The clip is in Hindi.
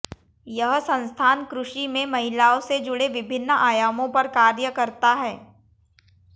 यह संस्थान कृषि में महिलाओं से जुड़े विभिन्न आयामों पर कार्य करता है